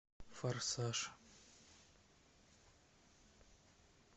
форсаж